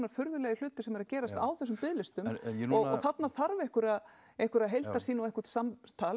furðulegir hlutir sem eru að gerast á þessum biðlistum og þarna þarf einhverja einhverja heildarsýn og einhvert samtal